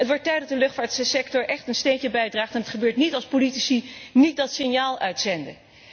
Het wordt tijd dat de luchtvaartsector echt een steentje bijdraagt en dat gebeurt niet als politici niet dat signaal uitzenden.